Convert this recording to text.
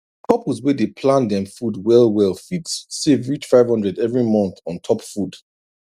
couples wey dey plan dem food well well fit save reach 500 every month on top food